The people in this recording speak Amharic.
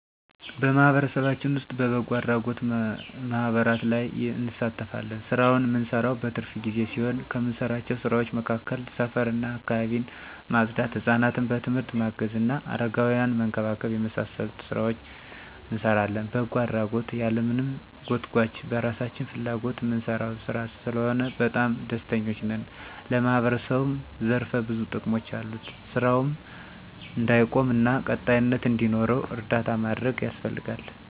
በማህበረሰባችን ዉስጥ በበጎ አድራጎት ማህበራት ላይ እንሳተፋለን። ስራውን እምንሰራው በትርፍ ጊዜ ሲሆን ከምንሰራቸው ስራዎች መካከል ሰፈር እና አካባቢን ማፅዳት፣ ሕፃናትን በትምህርት ማገዝ እና አረጋውያንን መንከባከብ የመሳሰሉትን ሥራዎች እንሰራለን። በጎ አድራጎት ያለማንም ጎትጉአች በራሳችን ፍላጎት እምንሰራው ሥራ ስለሆነ በጣም ደስተኞች ነን። ለማህበረሰቡም ዘርፈ ብዙ ጥቅሞች አሉት። ስራውም እንዳይቆም እና ቀጣይነት እንዲኖረው እርዳታ ማድረግ ያስፈልጋል።